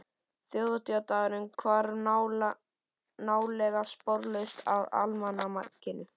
Þjóðhátíðardagurinn hvarf nálega sporlaust af almanakinu.